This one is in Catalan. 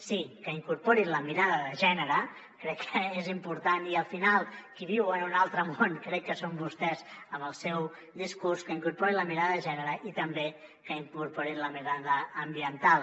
sí que incorporin la mirada de gènere crec que és important i al final qui viu en un altre món crec que són vostès amb el seu discurs i també que incorporin la mirada ambiental